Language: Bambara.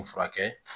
U furakɛ